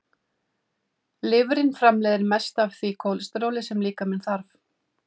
Lifrin framleiðir mest af því kólesteróli sem líkaminn þarf.